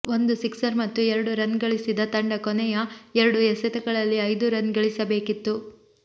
ಒಂದು ಸಿಕ್ಸರ್ ಮತ್ತು ಎರಡು ರನ್ ಗಳಿಸಿದ ತಂಡ ಕೊನೆಯ ಎರಡು ಎಸೆತಗಳಲ್ಲಿ ಐದು ರನ್ ಗಳಿಸ ಬೇಕಿತ್ತು